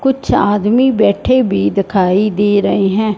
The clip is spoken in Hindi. कुछ आदमी बैठे भी दिखाई दे रहे हैं।